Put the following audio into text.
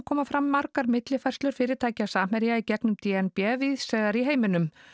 koma fram margar millifærslur fyrirtækja Samherja í gegnum d n b víðs vegar í heiminum